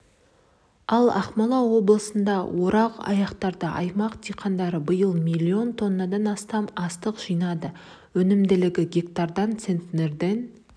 ал ақмола облысында орақ аяқталды аймақ диқандары биыл миллион тоннадан астам астық жинады өнімділігі гектарына центнерден